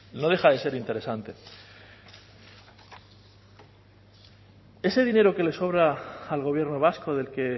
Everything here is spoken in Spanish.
no deja de ser interesante ese dinero que le sobra al gobierno vasco del que